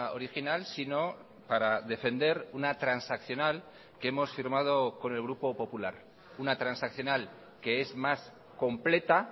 original sino para defender una transaccional que hemos firmado con el grupo popular una transaccional que es más completa